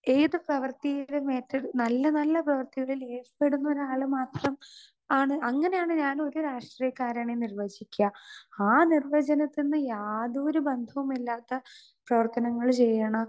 Speaker 2 ഏത് പ്രവർത്തിയെയും ഏറ്റെടുത്ത് നല്ല നല്ല പ്രവർത്തികളിൽ ഏർപ്പെടുന്ന ഒരാള് മാത്രം ആണ് അങ്ങനെ ആണ് ഞാൻ ഒരു രാഷ്ട്രീയക്കാരനെ നിർവചിക്കാ. ആ നിർവജനത്തിന്ന് യാതൊരു ബന്ധവുമില്ലാത്ത പ്രവര്ത്തനങ്ങള് ചെയ്യണ